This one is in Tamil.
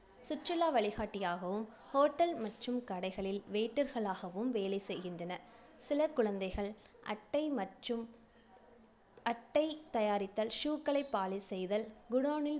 சுற்றுலா வழிகாட்டியாகவும், hotel மற்றும் கடைகளில் waiter களாகவும் வேலை செய்கின்றனர். சில குழந்தைகள் அட்டை மற்றும் அட்டை தயாரித்தல், shoe க்களை polish செய்தல், godown ல்